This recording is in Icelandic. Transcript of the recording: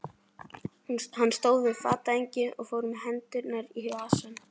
Hann stóð við fatahengið og fór með hendurnar í vasann.